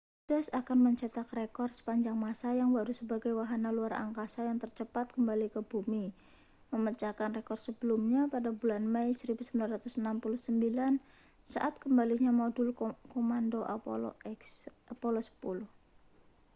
stardust akan mencetak rekor sepanjang masa yang baru sebagai wahana luar angkasa yang tercepat kembali ke bumi memecahkan rekor sebelumnya pada bulan mei 1969 saat kembalinya modul komando apollo x